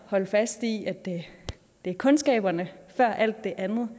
holde fast i at det er kundskaberne før alt det andet